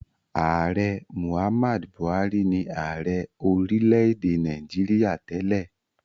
Ààrẹ Muhammad Buhari ni ààrẹ orílẹ̀-èdè Nàìjíríà tẹ́lẹ̀.